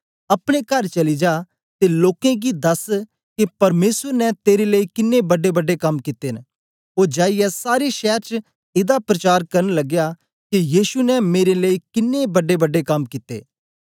अपने कर चली जा ते लोकें गी दस के परमेसर ने तेरे लेई किन्नें बड्डे बड्डे कम कित्ते न ओ जाईयै सारे शैर च एदा प्रचार करन लगया के यीशु ने मेरे लेई किन्नें बड्डेबड्डे कम कित्ते